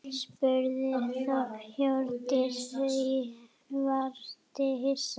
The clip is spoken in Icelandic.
spurði Hjördís og virtist hissa.